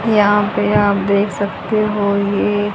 यहां पे आप देख सकते हो ये--